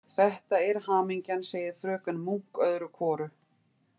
Þetta er hamingjan, segir fröken Munk öðru hvoru.